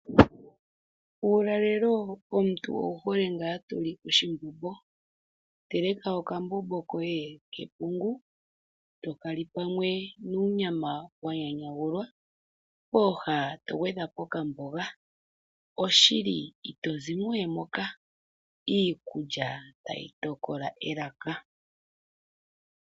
Uulalelo omuntu owuhole ngaa toli oshimbombo teleka okambomb koye kepungu tokali pamwe nuunyama wa nyanyagulwa pooha to gwedhapo okamboga. Oshili itozimo we moka . Iikulya ta yi tokola elaka.